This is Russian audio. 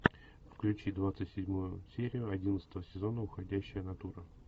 включи двадцать седьмую серию одиннадцатого сезона уходящая натура